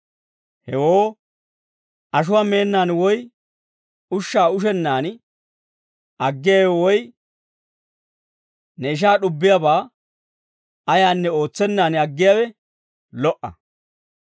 Hewoo ashuwaa meennaan woy ushshaa ushennaan aggiyaawe woy ne ishaa d'ubbiyaabaa ayaanne ootsennaan aggiyaawe lo"a.